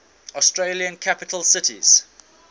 australian capital cities